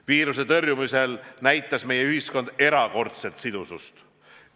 Viiruse tõrjumisel näitas meie ühiskond erakordset sidusust.